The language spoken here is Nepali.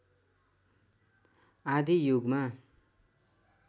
आदि युगमा